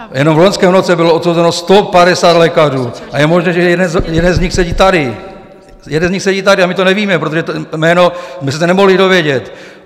Jenom v loňském roce bylo odsouzeno 150 lékařů a je možné, že jeden z nich sedí tady, jeden z nich sedí tady a my to nevíme, protože to jméno jsme se to nemohli dovědět.